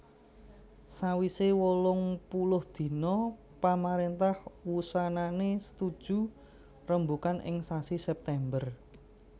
Sawisé wolungpuluh dina pamaréntah wusanané setuju rembugan ing sasi September